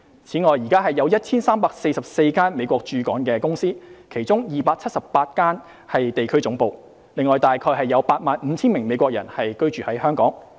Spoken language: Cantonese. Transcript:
此外，現時有 1,344 家美國駐港公司，其中278家是地區總部，另約有 85,000 名美國人在港居住。